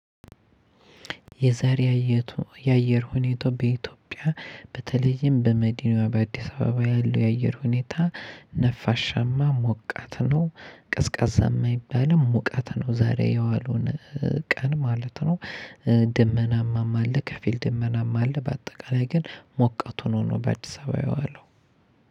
የዛሬ ያየቱ የአየር ሁኔታ በኢትዮጵያ በተለይም በመዲናዋ በአዲስ አበባ ያለው የአየር ሁኔታ ነፋሻማ ሞቃት ነው ቀዝቃዛ የማይባልም ሞቃት ነው ዛሬ የዋሉን ቀን ማለት ነው። ድመናማም አለ ከፊል ድመናማም አለ። በአጠቃላይ ግን ሞቀቱን ሆኖ በአዲስ አበባ የዋለው።